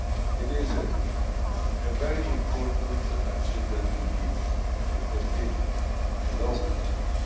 It is a very important achievement indeed, and it has been a long process.